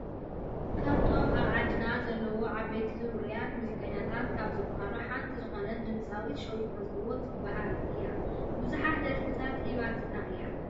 ካብቶም ኣብ ዓዲና ዘለው ዓበይቲ ውርያት ሙዚቀኛታት ካብ ዝብሃሉ ሓንቲ ዝኮነት ድምፃዊት ሸዊት መዝገቦ ትብሃል እያ ።ብዙሓት ደርፈታት ሂባትና እያ።